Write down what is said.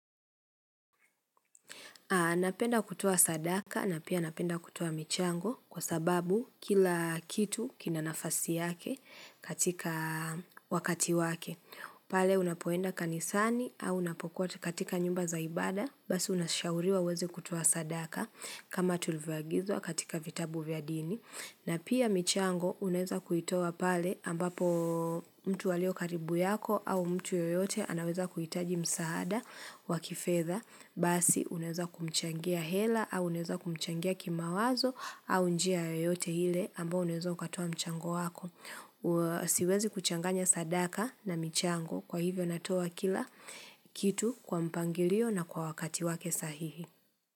Napenda kutoa sadaka na pia anapenda kutoa michango kwa sababu kila kitu kina nafasi yake katika wakati wake. Pale unapoenda kanisani au unapokuwa katika nyumba za ibada basi unashauriwa uweze kutoa sadaka kama tulivyogizwa katika vitabu vya dini. Na pia michango unaeza kuitoa pale ambapo mtu alio karibu yako au mtu yoyote anaweza kuhitaji msaada wa kifedha. Basi unaeza kumchangia hela au unaeza kumchangia kimawazo au njia yoyote ile ambao unaeza katoa mchango wako. Siwezi kuchanganya sadaka na michango kwa hivyo natoa kila kitu kwa mpangilio na kwa wakati wake sahihi.